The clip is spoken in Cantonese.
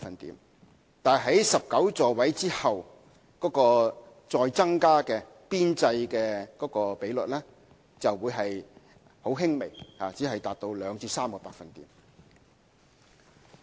不過，在19個座位之後再增加的邊際比率只會很輕微，只是達到2至3個百分點。